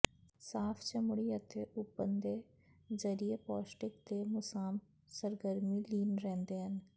ਸਾਫ਼ ਚਮੜੀ ਅਤੇ ਓਪਨ ਦੇ ਜ਼ਰੀਏ ਪੌਸ਼ਟਿਕ ਦੇ ਮੁਸਾਮ ਸਰਗਰਮੀ ਲੀਨ ਰਹਿੰਦੇ ਹਨ